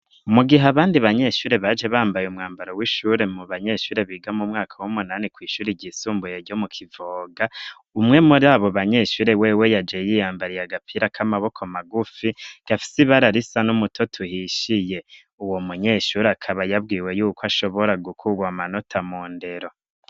Mu gihe abandi banyeshure baje bambaye umwambaro w'ishure mu banyeshure biga mu mwaka w'umunani kw'ishuri ryisumbuye ryo mu kivoga umwe mu r abo banyeshure wewe yaje yiyambariye agapira k'amaboko magufi gafise i bararisa n'umuto tuhishiye uwo munyeshuri akaba yabwiwe yuko ashobora gukurwa amanota mu ndero.